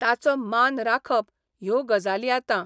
ताचो मान राखप ह्यो गजाली आतां